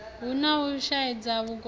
hu na u shaedza vhukuma